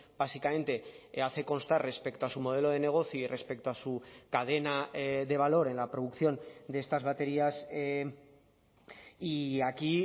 básicamente hace constar respecto a su modelo de negocio y respecto a su cadena de valor en la producción de estas baterías y aquí